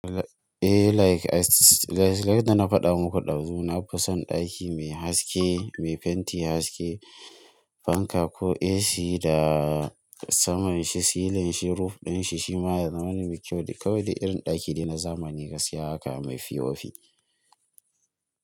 Eh like, like, like yadda na faɗa muku ɗazu, na fi son ɗaki mai haske, mai fenti haske, fanka ko AC da saman shi, silin shi, ruf ɗin shi shima yana da mani mai kyau. Kawai de irin ɗaki dai na zamani, gaskiya haka mai p o p.